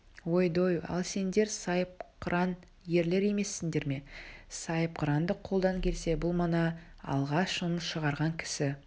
ой-дой ал сендер сайыпқыран ерлер емессіңдер ме сайыпқырандық қолдан келсе бұл мана алғаш үн шығарған кісі